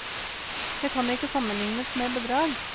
Det kan ikke sammenlignes med bedrag.